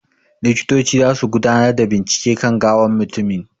Likitoci zasu gudanar da bincike kan gawan mutumin.